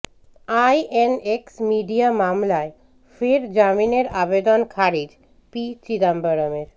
INX media মামলায় ফের জামিনের আবেদন খারিজ পি চিদম্বরমের